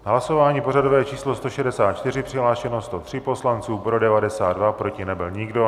Hlasování pořadové číslo 164, přihlášeno 103 poslanců, pro 92, proti nebyl nikdo.